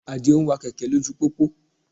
Àdìó ń wa kẹ̀kẹ́ lójú pópó